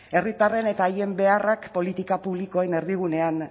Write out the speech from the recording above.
herritarren eta haien beharrak politika publikoen erdigunean